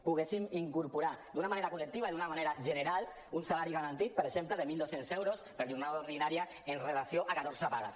poguéssim incorporar d’una manera col·lectiva i d’una manera general un salari garantit per exemple de mil dos cents euros per jornada ordinària amb relació a catorze pagues